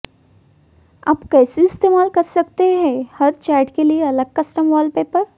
आप कैसे इस्तेमाल कर सकते हैं हर चैट के लिए अलग कस्टम वालपेपर